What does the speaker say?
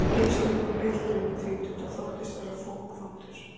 Bílstjórinn var piltur um tvítugt og þóttist vera fokvondur.